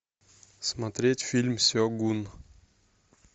смотреть фильм сегун